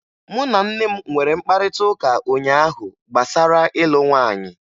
Mụ na nne m nwere mkparịtaụka ụnyaahụ gbasara ịlụ nwaanyị.